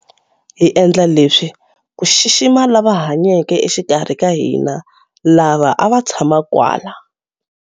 Hi endla leswi ku xixima lava hanyeke exikarhi ka hina, lava a va tshama kwala.